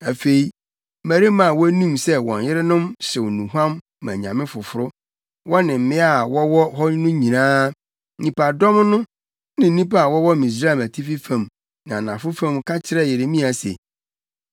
Afei mmarima a na wonim sɛ wɔn yerenom hyew nnuhuam ma anyame foforo, wɔne mmea a wɔwɔ hɔ no nyinaa, nnipadɔm no, ne nnipa a wɔwɔ Misraim Atifi fam ne Anafo fam ka kyerɛɛ Yeremia se,